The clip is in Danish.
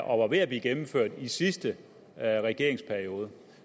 og var ved at blive gennemført i sidste regeringsperiode